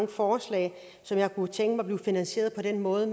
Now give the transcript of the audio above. forslag som jeg kunne tænke mig blev finansieret på den måde